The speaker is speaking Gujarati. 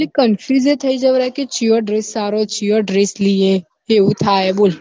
confuse એ થઇ જવરાય કે ચિયો dress સારો ચિયો dress લઈએ એવું થાય હે બોલ